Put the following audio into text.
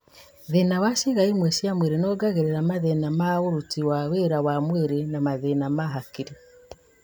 Thĩna wa ciĩga imwe cia mwĩrĩ noũngagĩrĩria mathĩna ma ũruti wa wĩra wa mwĩrĩ na mathĩna ma hakiri